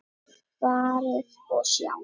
Farið og sjá!